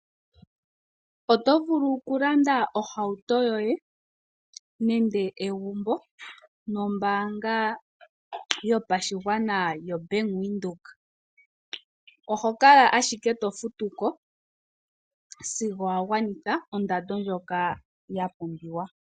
Oto vulu okulanda ohauto yoye nenge egumbo nombaanga yopashigwana yoBank Windhoek. Oho kala ashike to futu ko sigo wagwanitha ondando ndjoka yapumbiwa.